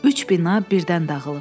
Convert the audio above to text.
Üç bina birdən dağılıb.